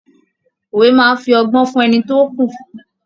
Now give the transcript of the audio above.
Òwe máa fí ọgbọ́n fún ẹni tí ó kù fún.